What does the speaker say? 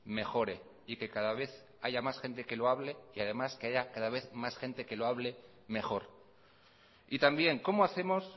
mejore y que cada vez haya más gente que lo hable y que además que haya cada vez más gente que lo hable mejor y también cómo hacemos